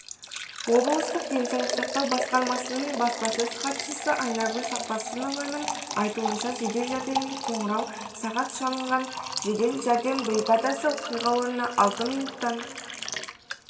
облыстық денсаулық сақтау басқармасының баспасөз хатшысы айнагүл сақпосынованың айтуынша жедел жәрдемге қоңырау сағат шалынған жедел жәрдем бригадасы оқиға орнына алты минуттан